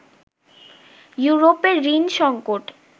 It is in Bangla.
ইউরোপের ঋণ সংকট